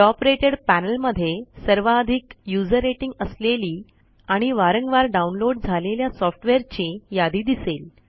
top rated panel मध्ये सर्वाधिक user rating असलेली आणि वारंवार डाऊनलोड झालेल्या सॉफ्टवेअरची यादी दिसेल